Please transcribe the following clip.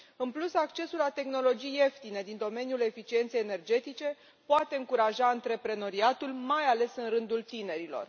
În plus, accesul la tehnologii ieftine din domeniul eficienței energetice poate încuraja antreprenoriatul, mai ales în rândul tinerilor.